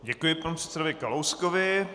Děkuji panu předsedovi Kalouskovi.